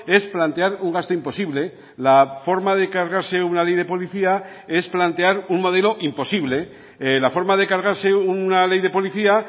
es plantear un gasto imposible la forma de cargarse una ley de policía es plantear un modelo imposible la forma de cargarse una ley de policía